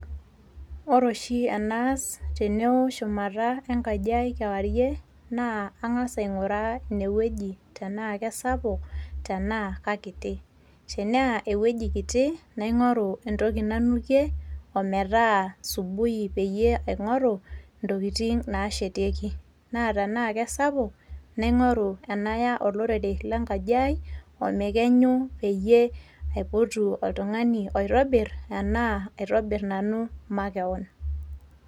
Ore oshi enaas teneo shumata enkajiai kewarie naa ang'as aing'uraa ine weuji tena kesapuk tenaa kakiti, Tenaa eweuji kiti naing'oru entoki nanukie ometa subui peyie aing'oru ntokitin nashetieki, naa tena keisapuk naing'oru ena olerere lenkaji ai omekenyu ,peyie aipotu oltungani oitobir ena aitobir nanu makewon.